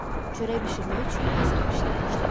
Çörək bişirmək üçün hazırlıq işinə başladı.